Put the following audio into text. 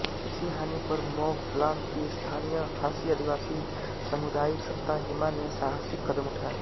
इसी हानि पर मौफलांग की स्थानीय खासी आदिवासी सामुदायिक सत्ता हिमा ने साहसिक कदम उठाए